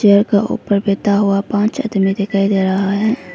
घर ऊपर बैठा हुआ पांच आदमी दिखाई दे रहा है।